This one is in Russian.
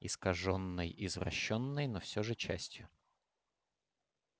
искажённой извращённой но всё же частью